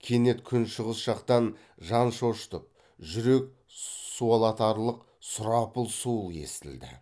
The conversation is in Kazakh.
кенет күншығыс жақтан жан шошытып жүрек суалатарлық сұрапыл суыл естілді